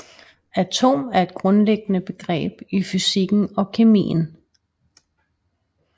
Atom er et grundlæggende begreb i fysikken og kemien